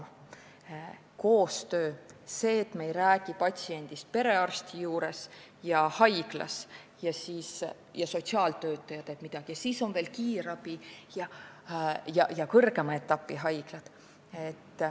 Peab olema koostöö, mitte nii, et me räägime patsiendist perearsti juures ja haiglas, siis sotsiaaltöötaja teeb midagi ning siis on veel kiirabi ja kõrgema etapi haiglad.